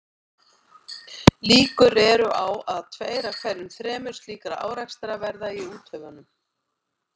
Líkur eru á að um tveir af hverju þremur slíkra árekstra verði í úthöfunum.